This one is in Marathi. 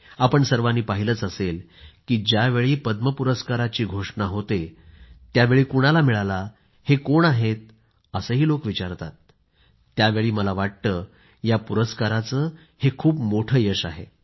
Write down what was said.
आपण सर्वांनी पाहिलंच असेल की ज्यावेळी पद्म पुरस्काराची घोषणा होते त्यावेळी कुणाला मिळाला हे कोण आहे असं लोक विचारतातत्यावेळी मला वाटतं या पुरस्काराचं हे खूप मोठं यश आहे